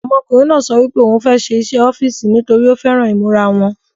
Ọmọkùnrin náà sọ wípé ò ń fẹ́ ṣe iṣẹ́ ọ́fìsì nítorí ó fẹ́ran ìmúra wọn